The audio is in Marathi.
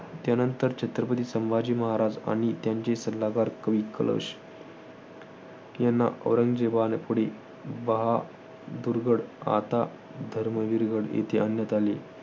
त्यानंतर छत्रपती संभाजी महाराज आणि त्यांचे सल्लागार कवी कलश यांना औरंगजेबापुढे बहादुरगड, आता धर्मवीरगड येथे आणण्यात आले.